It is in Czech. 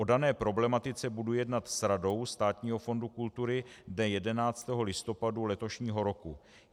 O dané problematice budu jednat s Radou Státního fondu kultury dne 11. listopadu letošního roku.